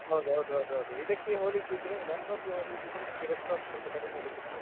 ಹೌದು ಹೌದು ಹೌದು ಹೌದು ಇದಕ್ಕೆ ಹೋಲಿಸಿದ್ರೆ laptop ಗೆ ಹೋಲ್ಸಿದ್ರೆ ನಿಮ್ಗೆ desktop ಸ್ವಲ್ಪ ಕಡಿಮೇಲಿ ಸಿಗ್ತದೆ.